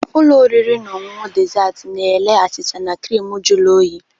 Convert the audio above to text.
Ụlọ oriri na ọṅụṅụ dezaatị na-ere achịcha na crịmu jụrụ oyi.